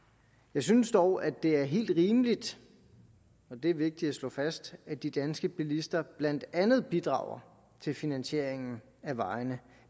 jeg synes dog at det er helt rimeligt og det er vigtigt at slå fast at de danske bilister blandt andet bidrager til finansieringen af vejene